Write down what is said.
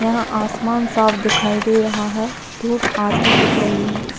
यहाँ आसमान साफ दिखाई दे रहा है धुप आती दिख रही है।